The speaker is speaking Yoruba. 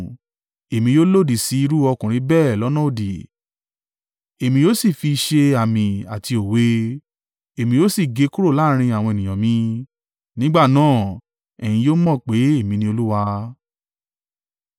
Èmi yóò lòdì si irú ọkùnrin bẹ́ẹ̀ lọ́nà òdì, Èmi yóò sì fi i ṣe àmì àti òwe. Èmi yóò sì gé e kúrò láàrín àwọn ènìyàn mi. Nígbà náà, ẹ̀yin yóò mọ̀ pé èmi ni Olúwa.